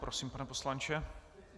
Prosím, pane poslanče.